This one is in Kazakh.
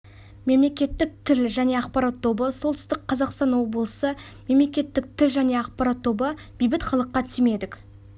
мемлекеттік тіл және ақпарат тобы солтүстік қазақстан облысы мемлекеттік тіл және ақпарат тобы бейбіт халыққа тимедік